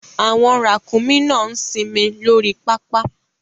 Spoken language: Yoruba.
Àwọn ràkúnmí náà ń sinmi lórí pápá